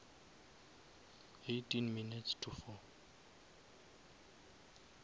eighteen minutes to four